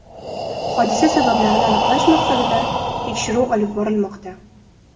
Hodisa sabablarini aniqlash maqsadida tekshiruv olib borilmoqda.